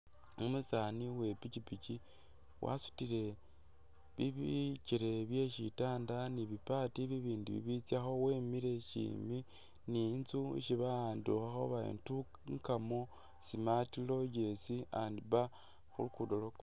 Umusaani we i'pikipiki wasutile bi bikele bye sitanda ni bi part bibindi bibitsyakho wemile syimi ni inzu isi bawandikhakho bari Ntungamo smart Lodge and bar khu lugudo lwa kolas.